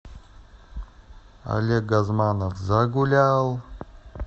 олег газманов загулял